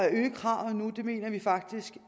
øge kravene nu mener vi faktisk